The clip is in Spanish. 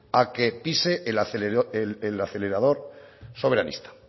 a que pise el acelerador soberanista